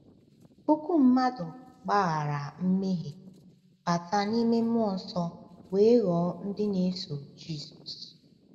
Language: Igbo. Puku mmadụ gbaghara mmehie, bata n’ime mmụọ nsọ, wee ghọọ ndị na-eso Jisọs.